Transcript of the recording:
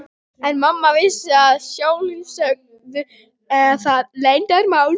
En mamma vissi að sjálfsögðu það leyndarmál.